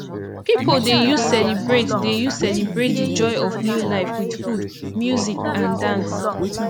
pipo dey use celebrate dey use celebrate di joy of new life with food music and dance